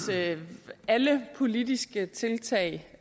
alle politiske tiltag